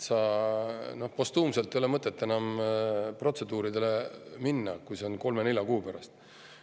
Postuumselt ei ole mõtet enam protseduuridele minna, kui see võimalus on kolme-nelja kuu pärast.